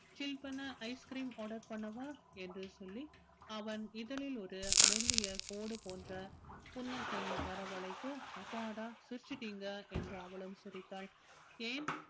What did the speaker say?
chill பண்ண ice cream order பண்ணவா என்று சொல்லி அவன் அவன் இதழில் ஒரு மெல்லிய கோடு போன்ற புன்னகை வரவழைக்க அப்பாடா சிரிச்சிட்டீங்க என்று அவளும் சிரித்தாள் ஏன்